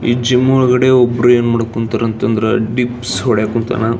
ಈ ಜಿಮ್ ಒಳಗಡೆ ಒಬ್ರು ಏನ್ ಮಾಡಕ್ ಹೊಂಟರ್ ಅಂತ ಅಂದ್ರೆ ಡಿಪ್ಸ್ ಹೊಡೆಯಕ್ ಹೊಂಥನ .